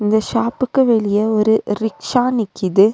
இந்த ஷாப்புக்கு வெளிய ஒரு ரிக்ஷா நிக்கிது.